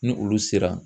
Ni olu sera